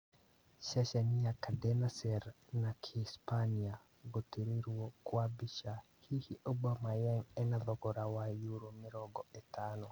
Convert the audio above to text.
Ceceni ya Cadena Ser- na Kĩhispania, gũtarĩrio kwa mbica, hihi Aubemayang ena thogora wa yuro mĩrongo ĩtano